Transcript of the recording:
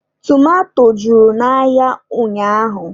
Tomato juru n'ahịa ụnyaahụ